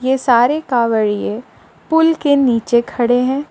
ये सारे कावड़िए पुल के नीचे खड़े हैं।